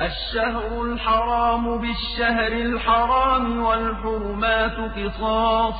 الشَّهْرُ الْحَرَامُ بِالشَّهْرِ الْحَرَامِ وَالْحُرُمَاتُ قِصَاصٌ